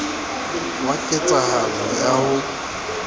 wa ket sahalo ya ho